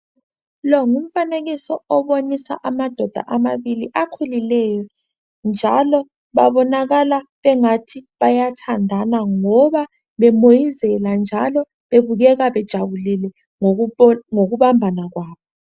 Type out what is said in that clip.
Lo ngumfanekiso obonisa amadoda amabili akhulileyo njalo babonakala engathi bayathandana ngoba bemoyizela njalo bebukeka bejabulile ngokubambana kwabo.